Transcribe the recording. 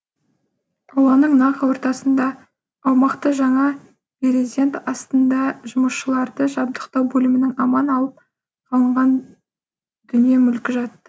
ауланың нақ ортасында аумақты жаңа березент астында жұмысшыларды жабдықтау бөлімінің аман алып қалынған дүние мүлкі жатты